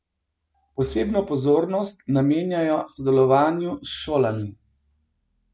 Posebno pozornost namenjajo sodelovanju s šolami.